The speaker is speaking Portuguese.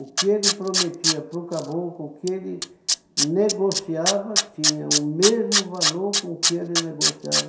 O que ele prometia para o caboclo, o que ele negociava tinha o mesmo valor com o que ele negociava